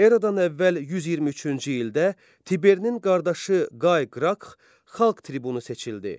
Eradan əvvəl 123-cü ildə Tiberinin qardaşı Qay Qrax xalq tribunu seçildi.